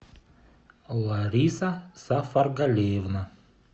лариса сафаргалиевна